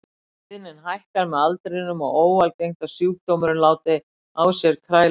Tíðnin hækkar með aldrinum og er óalgengt að sjúkdómurinn láti á sér kræla fyrir fertugt.